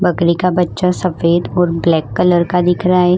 बकरी का बच्चा सफेद और ब्लैक कलर का दिख रहा है।